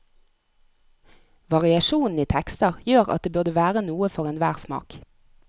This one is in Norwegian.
Variasjonen i tekster gjør at det burde være noe for enhver smak.